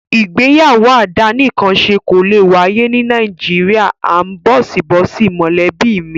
Ìgbéyàwó àdánìkanṣe kò lè wáyé ní Nàìjíríà áńbọ̀síbọ̀sí mọ̀lẹ́bí mi.